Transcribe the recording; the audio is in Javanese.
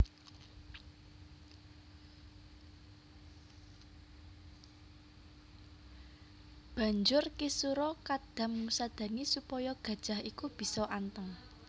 Banjur Ki sura Kadam ngusadani supaya gajah iku bisa anteng